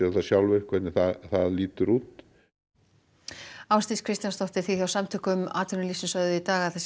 það sjálfir hvernig það lítur út Ásdís Kristjánsdóttir þið hjá Samtökum atvinnulífsins sögðuð í dag að